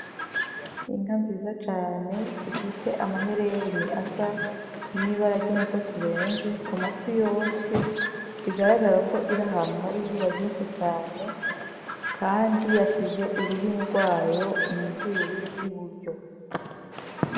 Inka nziza cane ifise amaherene asa n'ibara ry'umutoto ubenje ku matwi yose, bigaragara ko iri ahantu hari izuba ryinshi cane kandi yashize ururimi rwayo mu zuru ry'iburyo.